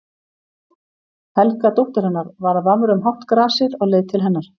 Helga dóttir hennar var að vafra um hátt grasið á leið til hennar.